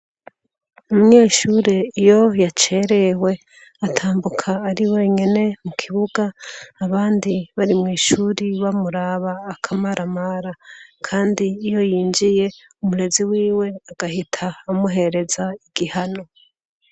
Umweshuri iyo yacerewe atambuka ari wenyene mu kibuga abandi bari mw'ishuri bamuraba akamaramara, kandi iyo yinjiye umurezi wiwe agahita amuhereza igihano.